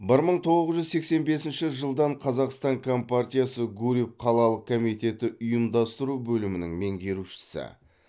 бір мың тоғыз жүз сексен бесінші жылдан қазақстан компартиясы гурьев қалалық комитеті ұйымдастыру бөлімінің меңгерушісі